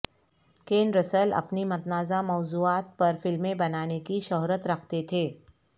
can Russell اپنی متنازعہ موضوعات پر فلمیں بنانے کی شہرت رکھتے تھے